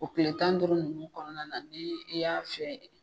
O kile tan duuru nunnu kɔnɔna na ni i y'a fiyɛ